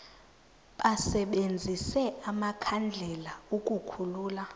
basebenzise amakhandlela ukukhulula